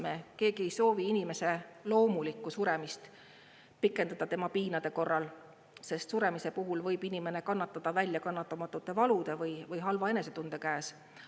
Me keegi ei soovi inimese loomulikku suremist pikendada tema piinade korral, sest suremise puhul võib inimene kannatada väljakannatamatute valude või halva enesetunde käes.